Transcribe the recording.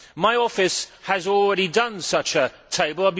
My office has already drawn up such a table.